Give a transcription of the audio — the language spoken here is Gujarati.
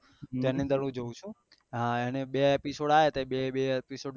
એની અંડે મેં જોવું છું એનું બે એપિસોડ આયા થા એ બે બે